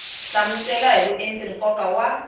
hlamusela hi vuenti nkoka wa